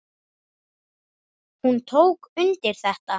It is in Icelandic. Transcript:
Hún tók undir þetta.